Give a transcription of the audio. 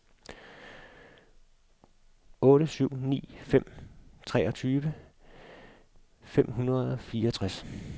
otte syv ni fem treogtyve fem hundrede og fireogtres